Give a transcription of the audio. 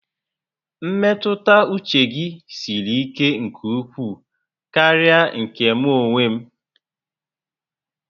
Mmetụta uche gi siri ike nke ukwuu karịa nke mụ onwe m